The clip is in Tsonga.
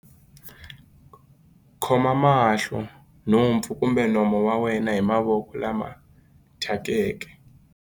Khoma mahlo, nhompfu kumbe nomo wa wena hi mavoko lama thyakeke.